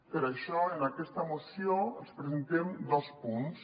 per això en aquesta moció els presentem dos punts